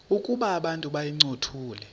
ukuba abantu bayincothule